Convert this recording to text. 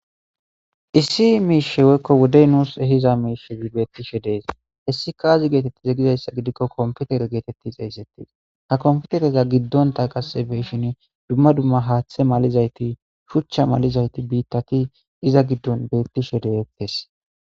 Issi miishe woyikko woddey nuus ehiza miishe beettishe dees hessi kaazi geetetti egizayssa gidikko komputere geetetti xeeyssettis ha komfutereza giddonta qasse beshin dumma dumma haaththe malizayti shuchcha malizayti biittati iza giddon beettishe deyettes